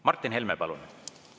Martin Helme, palun!